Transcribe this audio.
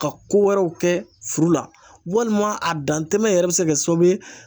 Ka ko wɛrɛw kɛ furu la, walima a dantɛmɛ yɛrɛ bɛ se ka kɛ sababu ye